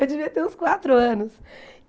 Eu devia ter uns quatro anos.